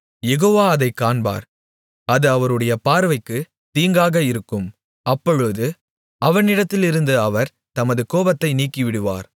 யெகோவா அதைக் காண்பார் அது அவருடைய பார்வைக்கு தீங்காக இருக்கும் அப்பொழுது அவனிடத்திலிருந்து அவர் தமது கோபத்தை நீக்கிவிடுவார்